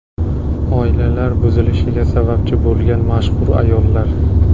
Oilalar buzilishiga sababchi bo‘lgan mashhur ayollar .